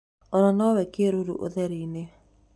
Ona no wone kĩruru ũtherinĩ.